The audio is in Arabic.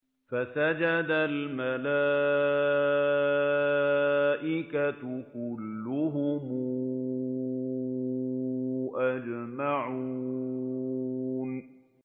فَسَجَدَ الْمَلَائِكَةُ كُلُّهُمْ أَجْمَعُونَ